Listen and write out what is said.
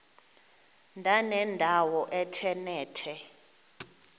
ndanendawo ethe nethe